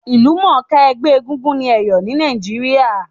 Ìlúmònká ẹgbẹ́ egúngún ni Èyò ni Naíjiria